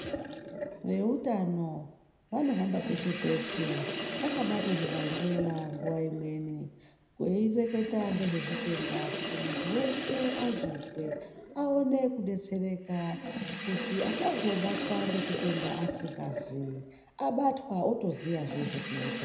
Veutano vanohamba peshe peshe, vakabate zvebhanxela nguva imweni, veireketa nezvezvitenda, kuti muntu weshe azvizwe aone kudetsereka kuti asazobatwa ngechitenda asingazii, abatwa otoziya zvokuita.